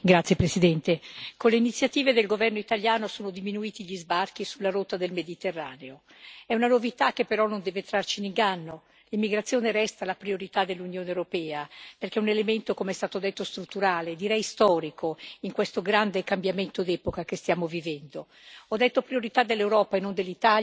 Signora Presidente, onorevoli colleghi, con le iniziative del governo italiano sono diminuiti gli sbarchi sulla rotta del Mediterraneo è una novità che però non deve trarci in inganno. L'immigrazione resta la priorità dell'Unione europea perché è un elemento, come è stato detto, strutturale, direi storico, in questo grande cambiamento di epoca che stiamo vivendo.